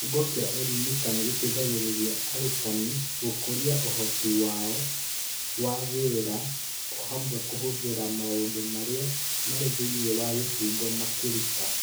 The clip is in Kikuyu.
kĩbungo kĩa Elimika nĩ gĩteithagĩrĩria arutani gũkũria ũhoti wao wa wĩra, o hamwe na kũhũthĩra maũndũ marĩa marĩ thĩinĩ wa kĩbungo makĩruta.